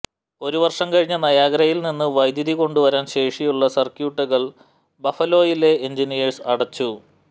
ഒരു വർഷം കഴിഞ്ഞ് നയാഗ്രയിൽ നിന്ന് വൈദ്യുതി കൊണ്ടുവരാൻ ശേഷിയുള്ള സർക്യൂട്ടുകൾ ബഫലോയിലെ എഞ്ചിനിയേഴ്സ് അടച്ചു